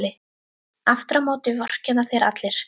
Aftur á móti vorkenna þér allir.